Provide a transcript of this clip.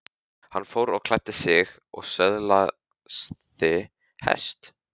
Hann fór og klæddi sig og söðlaði hest.